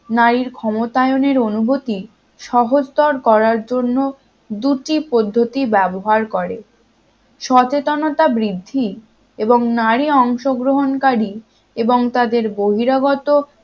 নারীর ক্ষমতায়নের অনুভূতি সহজতর করার জন্য দুটি পদ্ধতি ব্যবহার করে সচেতনতা বৃদ্ধি এবং নারী অংশগ্রহণকারী এবং তাদের বহিরাগত